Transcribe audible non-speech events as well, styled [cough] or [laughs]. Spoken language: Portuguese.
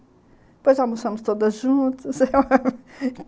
Depois, almoçamos todas juntas... [laughs]